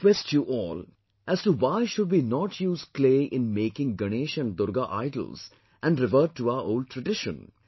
I request you all as to why should we not use clay in making Ganesh and Durga idols and revert to our old tradition